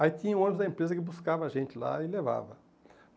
Aí tinha o ônibus da empresa que buscava a gente lá e levava.